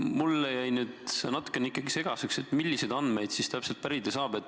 Mulle jäi nüüd ikkagi natukene segaseks, milliseid andmeid siis täpselt pärida saab.